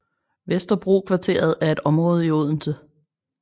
Vesterbrokvarteret er et område i Odense